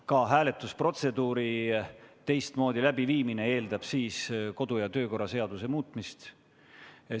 Ka hääletusprotseduuri teistmoodi läbiviimine eeldab kodu- ja töökorra seaduse muutmist.